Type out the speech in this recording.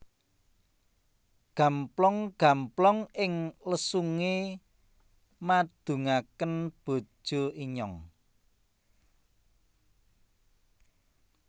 Gamplong gamplong ing lesunge madungaken bojo inyong